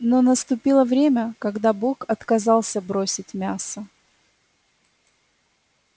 но наступило время когда бог отказался бросить мясо